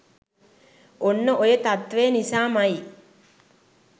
ඔන්න ඔය තත්ත්වය නිසාම යි